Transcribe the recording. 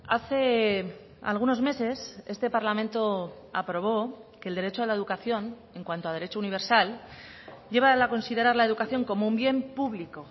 hace algunos meses este parlamento aprobó que el derecho a la educación en cuanto a derecho universal lleva a considerar la educación como un bien público